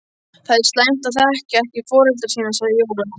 Það er slæmt að þekkja ekki foreldra sína, sagði Jóel.